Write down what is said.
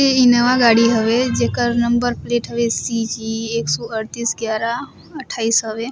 ए Innova हवे जेकर number plate हवे सी जी एक सौ अड़तीस ग्यारा अट्ठाईस हवे।